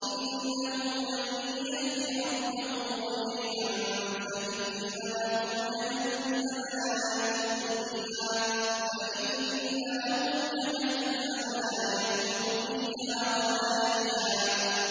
إِنَّهُ مَن يَأْتِ رَبَّهُ مُجْرِمًا فَإِنَّ لَهُ جَهَنَّمَ لَا يَمُوتُ فِيهَا وَلَا يَحْيَىٰ